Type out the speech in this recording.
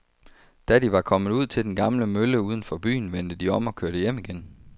Da de var kommet ud til den gamle mølle uden for byen, vendte de om og kørte hjem igen.